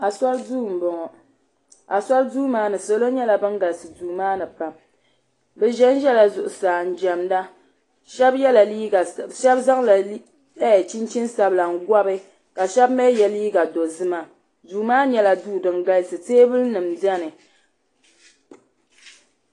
Asori duu m boŋɔ asori duu maani salo nyɛla ban galisi duu maani pam bɛ ʒɛnʒɛla zuɣusaa n jemda sheba zaŋla chinchini sabila n gɔbi ka sheba mee ye liiga dozima duu maa nyɛla duu din galisi ka teebuli nima biɛni.